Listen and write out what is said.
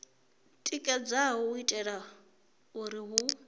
tikedzaho u itela uri hu